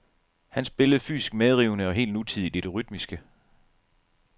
Han spillede fysisk medrivende og helt nutidigt i det rytmiske.